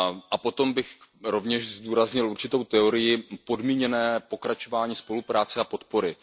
A potom bych rovněž zdůraznil určitou teorii podmíněnosti pokračování spolupráce a podpory.